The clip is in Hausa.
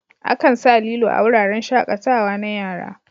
Akan sa lilo a wuraren shaƙatawa na yara.